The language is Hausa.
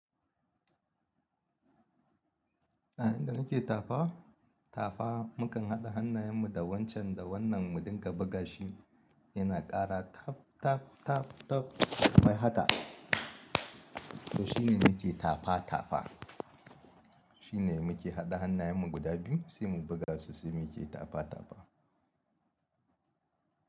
A inda nake tafa tafa mukan haɗa hannayen mu da wancan da wannan mu ɗinka buga shi yana kara taf taf taf taf wai haka. To shine muke tafa tafa. Shine muke haɗa hannayen mu guda biyu sai mu buga su sai muke tafa tafa.